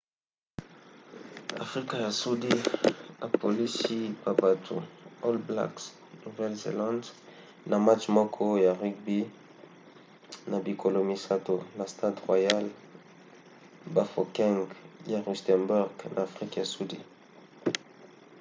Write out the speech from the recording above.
afrika ya sudi apolisi ba battu all blacks nouvelle-zélande na match moko ya rugby na bikolo misato na stade royal bafokeng ya rustenburg na afrika ya sudi